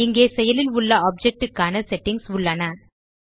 இங்கே செயலில் உள்ள ஆப்ஜெக்ட் க்கான செட்டிங்ஸ் உள்ளன